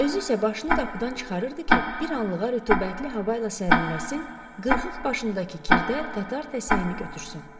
Özü isə başını qapıdan çıxarırdı ki, bir anlığa rütubətli hava ilə sərinləşsin, qırxıq başındakı kirdə tatar təsəyini götürsün.